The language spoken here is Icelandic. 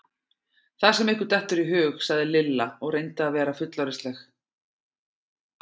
Það sem ykkur dettur í hug! sagði Lilla og reyndi að vera fullorðinsleg.